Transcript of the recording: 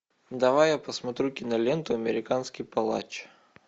давай я посмотрю киноленту американский палач